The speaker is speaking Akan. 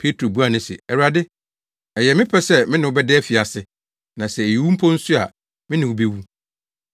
Petro buaa no se, “Awurade, ɛyɛ me pɛ sɛ me ne wo bɛda afiase, na sɛ ɛyɛ owu mpo nso a, me ne wo bewu.”